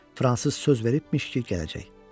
Fransız söz veribmiş ki, gələcək.